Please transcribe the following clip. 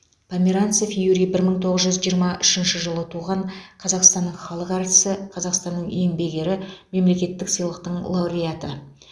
померанцев юрий бір мың тоғыз жүз жиырма үшінші жылы туған қазақстанның халық әртісі қазақстанның еңбек ері мемлекеттік сыйлықтың лауреаты